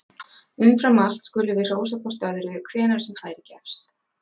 Umfram allt skulum við hrósa hvort öðru hvenær sem færi gefst!